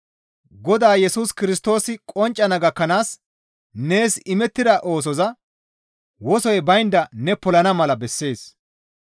Godaa Yesus Kirstoosi qonccana gakkanaas nees imettida oosoza wosoy baynda ne polana mala bessees.